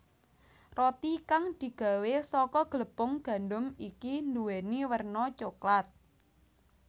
Roti kang digawé saka glepung gandum iki nduwèni werna coklat